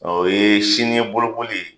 Ɔo ye sini ye bolokoli ye!